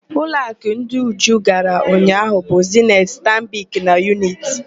Ụlọakụ ndị Uju gara ụnyaahụ bụ: Zeniti, Stanbik na Yuniti.